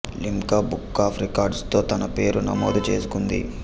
Limca book of records లో తన పేరు నమోదు చేసుకుంది